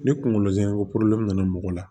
Ni kungolo zɛmɛ ko nana mɔgɔ la